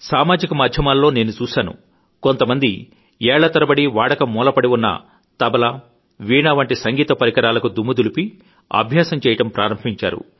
సామాజిక మాధ్యమాల్లోనేను చూశాను కొంతమంది ఏళ్ల తరబడీ వాడక మూలనపడి ఉన్న తబలా వీణా వంటి సంగీత పరికరాలకు దుమ్ము దులిపి కొంతమంది అభ్యాసం చేయడం ప్రారంభించారు